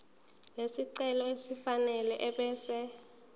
lesicelo elifanele ebese